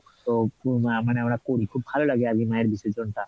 আহ মানে আমরা করি খুব ভালো লাগে আর কী মায়ের বিসর্জন টা।